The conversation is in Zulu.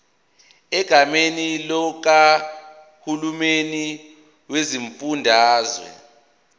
egameni likahulumeni wesifundazwe